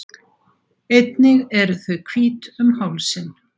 Einnig eru þau hvít um hálsinn.